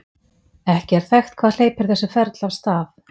ekki er þekkt hvað hleypir þessu ferli af stað